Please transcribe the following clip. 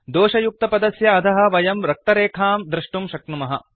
दोषयुक्तपदस्य अधः वयं रक्तरेखां दृष्टुं शक्नुमः